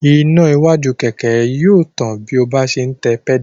Iná iwájú kẹ̀kẹ́ náà yóò tàn bí ọ bá ń se tẹ pẹ́dà